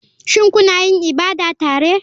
Shin kuna yin ibada tare?